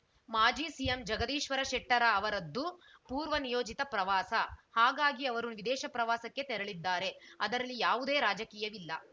ಮಾಜಿ ಸಿಎಂ ಜಗದೀಶ್ವರ ಶೆಟ್ಟರ ಅವರದ್ದು ಪೂರ್ವನಿಯೋಜಿತ ಪ್ರವಾಸ ಹಾಗಾಗಿ ಅವರು ವಿದೇಶ ಪ್ರವಾಸಕ್ಕೆ ತೆರಳಿದ್ದಾರೆ ಅದರಲ್ಲಿ ಯಾವುದೇ ರಾಜಕೀಯವಿಲ್ಲ